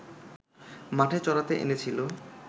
মাঠে চরাতে এনেছিল